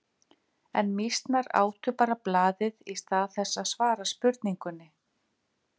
En mýsnar átu bara blaðið í stað þess að svara spurningunni.